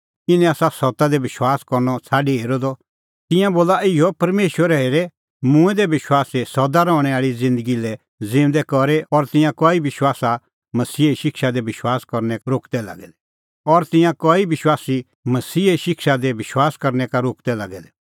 इनै आसा सत्ता दी विश्वास करनअ छ़ाडी हेरअ द तिंयां बोला इहअ परमेशरै हेरै मूंऐं दै विश्वासी सदा रहणैं आल़ी ज़िन्दगी लै ज़िऊंदै करी और तिंयां कई विश्वासी मसीहे शिक्षा दी विश्वास करनै का रोकदै लागै दै